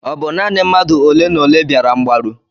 Ọ bụ naanị mmadụ olenaole bịara mgbaru?